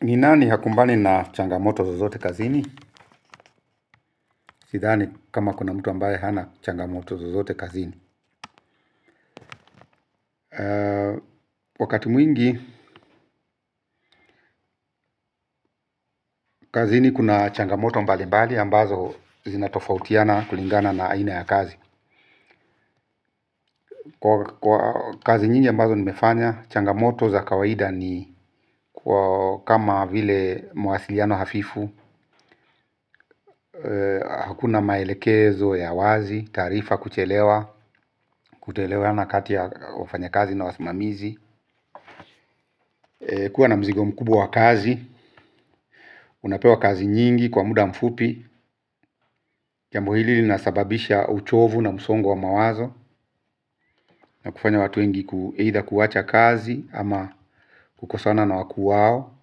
Ni nani hakumbani na changamoto zozote kazini. Sithani kama kuna mtu ambaye hana changamoto zozote kazini. Wakati mwingi kazini kuna changamoto mbali mbali ambazo zinatofautiana kulingana na aina ya kazi. Kwa kazi nyingi ambazo nimefanya, changamoto za kawaida ni kama vile mwasiliano hafifu. Hakuna maelekezo ya wazi, tarifa kuchelewa, kutoelewahana kati ya wafanya kazi na wasimamizi. Kuwa na mzigo mkubwa wa kazi. Unapewa kazi nyingi kwa muda mfupi. Jambo hili linasababisha uchovu na msongo wa mawazo na kufanya watu wengi kuheitha kuwacha kazi ama kukosana na wakuwao.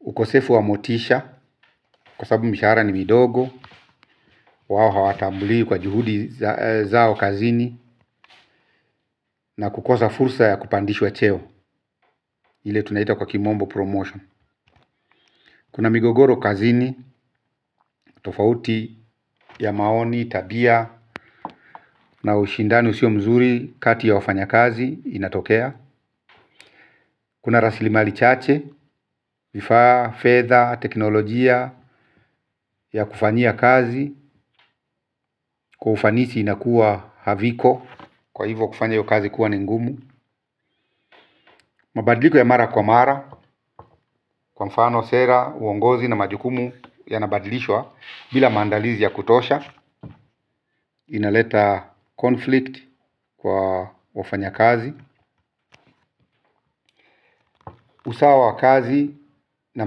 Ukosefu wa motisha kwa sababu mishara ni midogo. Wao hawatambuli kwa juhudi zao kazini na kukosa fursa ya kupandishwa cheo ile tunaita kwa kimombo promotion. Kuna migogoro kazini. Tofauti ya maoni, tabia na ushindani usio mzuri kati ya wafanya kazi inatokea. Kuna raslimali chache, vifa, fedha, teknolojia ya kufanyia kazi. Kwa ufanisi inakuwa haviko. Kwa hivo kufanya hiyo kazi kuwa ni ngumu. Mabadiliko ya mara kwa mara. Kwa mfano sera, uongozi na majukumu ya nabadilishwa. Bila mandalizi ya kutosha. Inaleta conflict kwa wafanya kazi. Usawa wa kazi na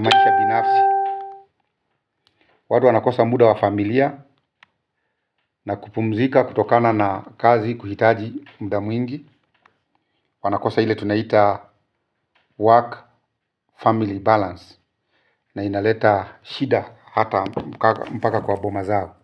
maisha binafsi. Wadu wanakosa muda wa familia na kupumzika kutokana na kazi kuhitaji muda mwingi. Wanakosa hile tunaita work family balance na inaleta shida hata mpaka kwa boma zao.